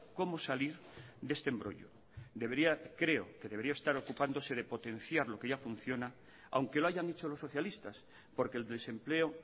cómo salir de este embrollo debería creo que debería estarse ocupándose de potenciar lo que ya funciona aunque lo hayan hecho los socialistas porque el desempleo